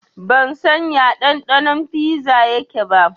Ban san ya ɗanɗanon fiza yake ba